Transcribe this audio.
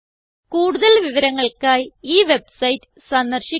കൂടുതൽ വിവരങ്ങൾക്കായി ഈ വെബ്സൈറ്റ് സന്ദർശിക്കുക